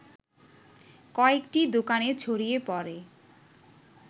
কয়েকটি দোকানে ছড়িয়ে পড়ে